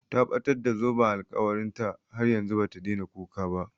Ta ɓatar da zoben alkawarin ta, har yanzu bata daina kuka ba